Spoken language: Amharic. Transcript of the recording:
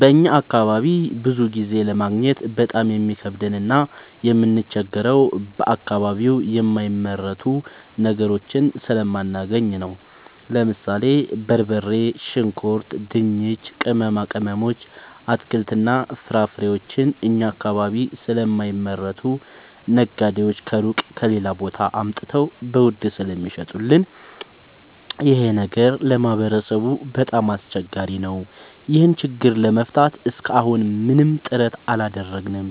በእኛ አካባቢ ብዙ ጊዜ ለማግኘት በጣም የሚከብደን እና የምንቸገረው በአከባቢው የማይመረቱ ነገሮችን ስለማናገኝ ነው። ለምሳሌ፦ በርበሬ፣ ሽንኩርት፣ ድንች፣ ቅመማ ቅመሞች፣ አትክልትና ፍራፍሬዎችን እኛ አካባቢ ስለማይመረቱ ነጋዴዎች ከሩቅ(ከሌላ ቦታ) አምጥተው በውድ ስለሚሸጡልን ይኸ ነገር ለማህበረሰቡ በጣም አስቸጋሪ ነው። ይህን ችግር ለመፍታት እሰከ አሁን ምንም ጥረት አላደረግንም።